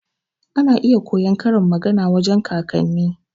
Ana iya koyon karin magana wajan kakanni.